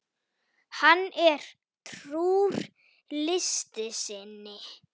Hann er trúr list sinni.